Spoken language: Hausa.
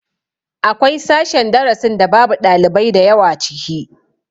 Akwai sashen darasin da babu ɗalibai da yawa ciki